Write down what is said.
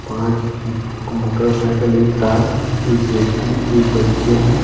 पांच motor cycle एक car एक व्यक्ति एक बच्चे हैं।